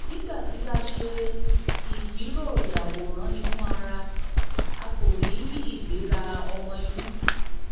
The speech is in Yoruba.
nígbà tí a ṣe ìfìróyàwòráninúara a kò rí ìgbéra ọmọinú